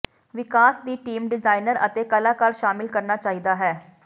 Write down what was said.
ਵਿਕਾਸ ਦੀ team designer ਅਤੇ ਕਲਾਕਾਰ ਸ਼ਾਮਿਲ ਕਰਨਾ ਚਾਹੀਦਾ ਹੈ